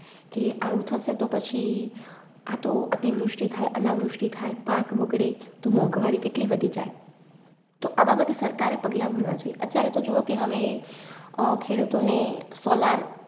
કે આવું થસે તો પછી આ તો અતિવૃષ્ટિ થાય, અનાવૃષ્ટિ થાય, પાક બગડે તો મોંઘવારી કેટલી વધી જાય. તો આ બાબતે સરકારએ પગલાં ભરવા જોઈ. અત્યારેતો જુવો કે હવે અ ખેડૂતોને Solar